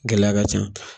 Gɛlɛya ka ca